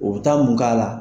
O bɛ taa mun k'a la